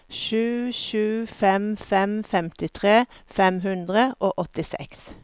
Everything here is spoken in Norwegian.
sju sju fem fem femtitre fem hundre og åttiseks